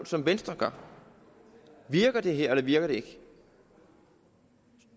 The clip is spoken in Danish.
som venstre gør virker det her eller virker det ikke